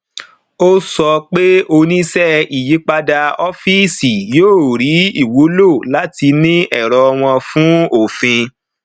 ó sọ pé oníṣẹ ìyípadà ọfíìsì yóò ríi ìwúlò láti ní ẹrọ wọn fún òfin